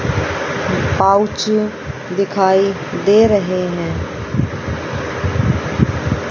Pouch दिखाई दे रहें हैं।